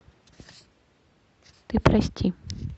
ты прости